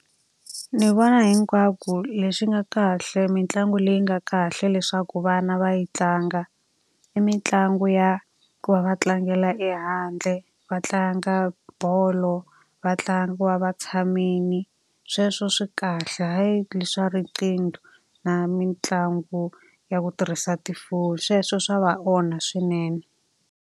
Ni vona hinkwako leswi nga kahle mitlangu leyi nga kahle leswaku vana va yi tlanga, i mitlangu ya ku va va tlangela ehandle, va tlanga bolo, va ku va va tshamile. Sweswo swi kahle hayi leswi swa riqingho na mitlangu ya ku tirhisa tifoni, sweswo swa va onha swinene.